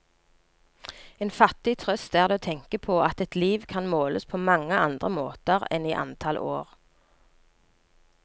En fattig trøst er det å tenke på at et liv kan måles på mange andre måter enn i antall år.